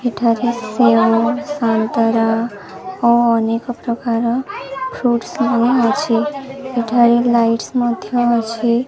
ଏଠାରେ ସେଓ ସନ୍ତରା ଓ ଅନେକ ପ୍ରକାର ଫ୍ରୁସ୍ ସବୁ ଅଛି ଏଠାରେ ଲାଇସ୍ ମଧ୍ୟ ଅଛି।